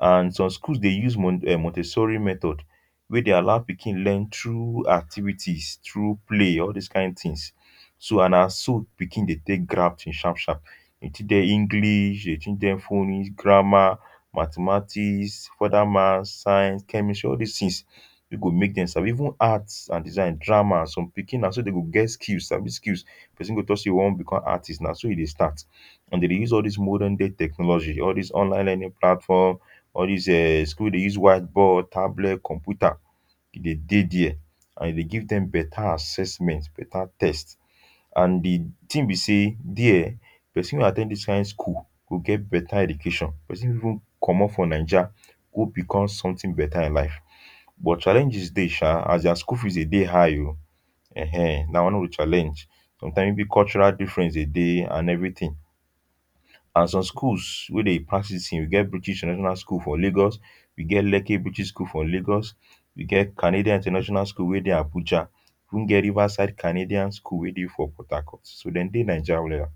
,and some schools dey use mon um montesssori method wey dey allow pikin learn through activities through play or all those kain things so and na so pikin dey take grab thing sharp sharp. dem teach dem english, dem teach dem phonics, grammar, mathematics, further maths, science, chemistry all this things wey go make dem sabi even arts and designs drama. some pikin na so dem go get skills sabi skills person go talk say e want become artist na so e dey start and dem dey use all these modern day technology all these online learning platforms all this um schools wey dey use white board, tablet, computer e dey dey there and e dey give dem beta assesment beta test and the thing be say there, person wey at ten d this kain school go get better education person fit even commot for naija go become something beta in life but challenges dey um as their school fees dey dey high o. en[um]na one of the challenge. sometimes big cultural difference dey dey and everything and some schools wey dey practice we get british international school for Lagos ,we Lekki british school for Lagos, we get canadian international school wey dey Abuja, we even get riverside canadian school wey dey for Port Harcort. so dem dey naija well.